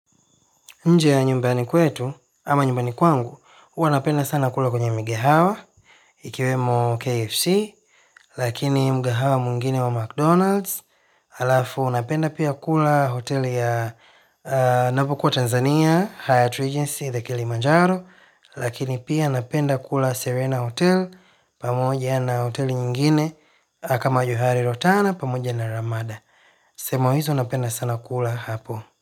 Nje ya nyumbani kwetu, ama nyumbani kwangu, huwa napenda sana kula kwenye migehawa, ikiwemo KFC, lakini mgahawa mwingine wa McDonald's, alafu napenda pia kula hotel ya napokuwa Tanzania, Hyatt Regency, The Kilimanjaro, lakini pia napenda kula Serena Hotel, pamoja na hoteli nyingine, kama johari rotana, pamoja na ramada. Sehemu hizo napenda sana kula hapo.